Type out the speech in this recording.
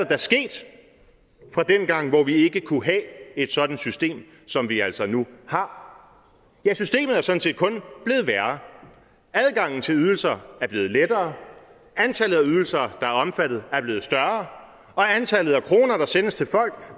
da sket fra dengang hvor vi ikke kunne have et sådant system som vi altså nu har ja systemet er sådan set kun blevet værre adgangen til ydelser er blevet lettere antallet af ydelser der er omfattet er blevet større og antallet af kroner der sendes til